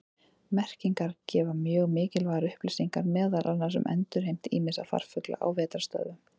Merkingar gefa mjög mikilvægar upplýsingar meðal annars um endurheimt ýmissa farfugla á vetrarstöðvum.